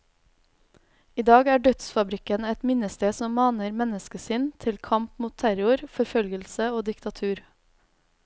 I dag er dødsfabrikken et minnested som maner menneskesinn til kamp mot terror, forfølgelse og diktatur.